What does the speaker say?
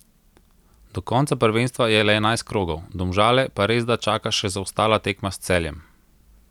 Do konca prvenstva je le enajst krogov, Domžale pa resda čaka še zaostala tekma s Celjem.